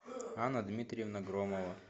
анна дмитриевна громова